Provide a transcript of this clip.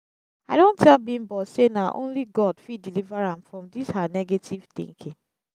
i don tell bimbo say na only god fit deliver am from dis her negative thinking